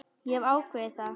Ég hef ákveðið það.